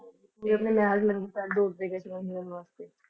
ਨੰਗੇ ਪੈਰ ਦੌੜਦੇ ਗਏ ਸੀ ਉਹਨਾਂ ਨੂੰ ਮਿਲਣ ਵਾਸਤੇ।